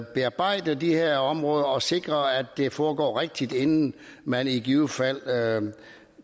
bearbejde de her områder og sikre at det foregår rigtigt inden man i givet fald